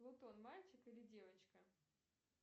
плутон мальчик или девочка